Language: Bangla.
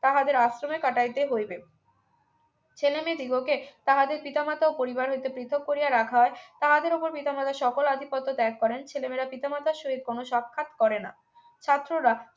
তাহাদের আশ্রমে কাটাইতে হইবে ছেলেমেয়ে দিগোকে তাহাদের পিতামাতা ও পরিবার হইতে পৃথক করিয়া রাখা হয় তাহাদের উপর পিতামাতা সকল আধিপত্য ত্যাগ করেন ছেলে মেয়েরা পিতা মাতার সহিত কোন সাক্ষাৎ করে না ছাত্ররা